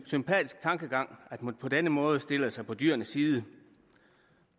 sympatisk tankegang at man på denne måde stiller sig på dyrenes side